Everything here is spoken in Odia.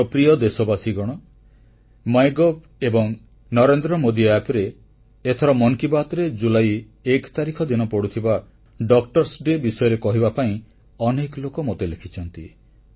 ମୋର ପ୍ରିୟ ଦେଶବାସୀଗଣ ମାଇଗଭ୍ ଏବଂ NarendraModiAppରେ ଏଥର ମନ କି ବାତ୍ରେ ଜୁଲାଇ 1 ତାରିଖ ଦିନ ପଡ଼ୁଥିବା ଡକ୍ଟର୍ସଡେ ବିଷୟରେ କହିବା ପାଇଁ ଅନେକ ଲୋକ ମୋତେ ଲେଖିଛନ୍ତି